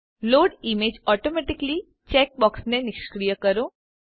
load images automatically check બોક્સને નિષ્ક્રિય કરો